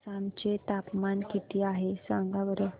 आसाम चे तापमान किती आहे सांगा बरं